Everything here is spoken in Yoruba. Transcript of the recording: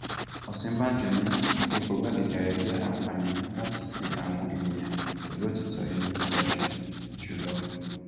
òsínbàjò ní ipò igbákejì ààrẹ jẹ àǹfààní láti sin àwọn èèyàn pẹlú òtítọ inú tó ga jù jù lọ